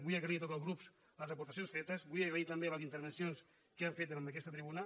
vull agrair a tots els grups les aportacions fetes vull agrair també les intervencions que han fet en aquesta tribuna